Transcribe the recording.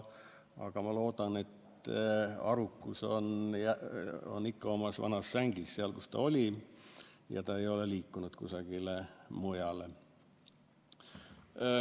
Aga ma loodan, et arukus on ikka omas vanas sängis, seal, kus ta oli, ta ei ole liikunud kusagile mujale.